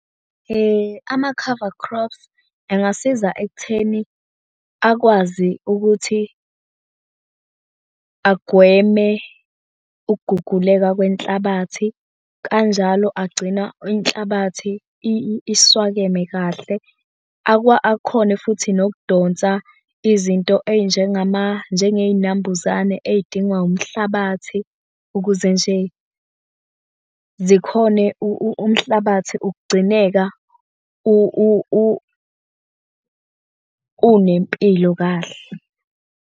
Ama-cover crops engasiza ekutheni akwazi ukuthi agweme ukuguguleka kwenhlabathi. Kanjalo agcina inhlabathi iswakeme kahle, akhone futhi nokudonsa izinto njengey'nambuzane ey'dingwa umhlabathi ukuze nje zikhone umhlabathi ukugcineka unempilo kahle.